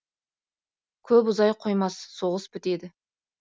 көп ұзай қоймас соғыс бітеді